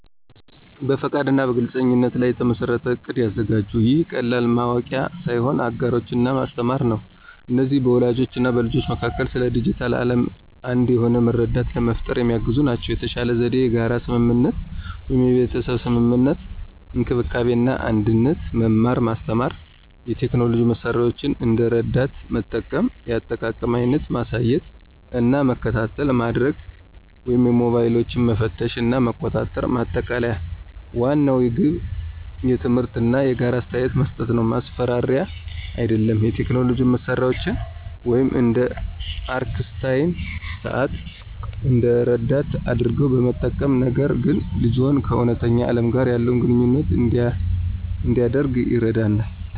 በፈቃድ እና በግልፅነት ላይ የተመሠረተ እቅድ ያዘጋጁ። ይህ ቀላል ማወቂያ ሳይሆን አጋሮች እና ማስተማር ነው። እነዚህ በወላጆች እና በልጆች መካከል ስለ ዲጂታል ዓለም አንድ የሆነ መረዳት ለመፍጠር የሚያግዙ ናቸው። የተሻለ ዘዴ የጋራ ስምምነት (የቤተሰብ ስምምነት፣ እንክብካቤ እና አንድነት፣ መማር ማስተማር፣ የቴክኖሎጂ መሳሪያዎችን እንደ ረዳት መጠቀም፣ የአጠቃቀም አይነት ማሳየት እና መከታተይ ማድርግ ወይም ሞባይሎችን መፈተሽ እና መቆጣጠር። ማጠቃለያ ዋናው ግብ ትምህርት እና የጋራ አስተያየት መስጠት ነው፣ ማስፈራሪያ አይደለም። የቴክኖሎጂ መሳሪያዎችን (እንደ አርክስታይም ሰዓት) እንደ ረዳት አድርገው በመጠቀም፣ ነገር ግን ልጅዎ ከእውነተኛ ዓለም ጋር ያለውን ግንኙነት እንዲያደርግ ይረዳናል።